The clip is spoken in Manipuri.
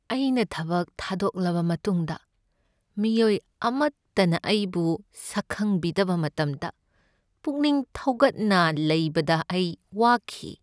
ꯑꯩꯅ ꯊꯕꯛ ꯊꯥꯗꯣꯛꯂꯕ ꯃꯇꯨꯡꯗ ꯃꯤꯑꯣꯏ ꯑꯃꯠꯇꯅ ꯑꯩꯕꯨ ꯁꯛꯈꯪꯕꯤꯗꯕ ꯃꯇꯝꯗ ꯄꯨꯛꯅꯤꯡ ꯊꯧꯒꯠꯅ ꯂꯩꯕꯗ ꯑꯩ ꯋꯥꯈꯤ꯫